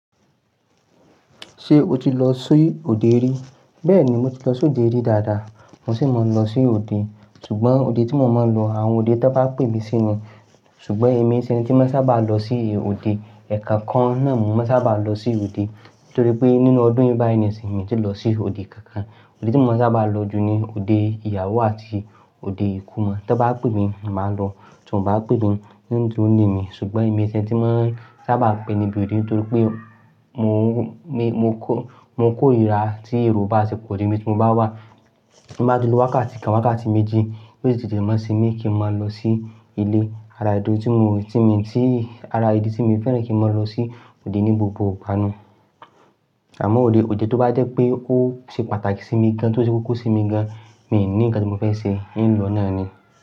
Ṣé o ti lọ sí òde rí? Bẹ́ẹ̀ni, mo ti lọ sí òde rí dáadáa. Mo sì máa ń lọ sí òde. Ṣùgbọ́n òde tí mọ máa ń lọ, àwọn òde tí wọ́n bá pè mí sí ní. Ṣùgbọ́n èmi ṣe ẹni tí máa ń sábà lọ sí òde. Ẹ̀kankan náà mo máa ń sábà lọ sí òde. Nítorí pé nínú ọdún yìí báyìí nìsin mi ti lọ sí òde kan kan. Òde tí mo sábà lọ jù ni òde ìyàwó àti òde ikomọ. Tọ́ bá pè mí, màá lọ. Tí wọ́n bá pè mí, n dúró ilé mi. Ṣùgbọ́n èmi ṣe ẹni tí wọ́n sábà ń pè níbi òde. Nítorí pé mò ń kó, mo kórira tí èrò bá tí pò jù ni ibi tí mo bá wá. Mo bá ti lo wákàtí kan, wákàtí méjì. Béè sí tìtẹ̀ mọ́ sí mi kí n máa lọ sí ilé ara ìdí tí mo, tí mi, tí ara ìdí tí mo fẹ́ràn kí n máa lọ sí òde ní gbogbo gbánu. Àmọ́ òde, òde tí ó bá jẹ́ pé ó ṣe pàtàkì sí mi gan, tí ó ṣe koko sí mi gan, mi ò ní nǹkan tí mo fẹ́ ṣe, ìnlọ náà ni.